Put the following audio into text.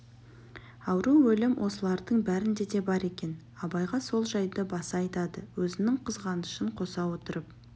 ауру өлім осылардың бәрінде де бар екен абайға сол жайды баса айтады өзінің қызғанышын қоса отырып